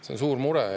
See on suur mure.